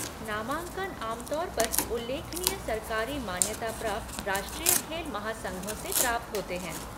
नामांकन आम तौर पर उल्लेखनीय सरकारी मान्यता प्राप्त राष्ट्रीय खेल महासंघों से प्राप्त होते हैं।